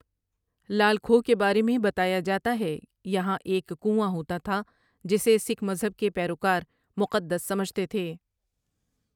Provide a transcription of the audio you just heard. لال کھو کے بارے میں بتایا جاتا ہے یہاں ایک کنواں ہوتا تھا جسے سکھ مذہب کے پیروکار مقدس سمجھتے تھے ۔